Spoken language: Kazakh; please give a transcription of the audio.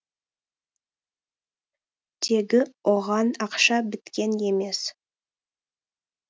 тегі оған ақша біткен емес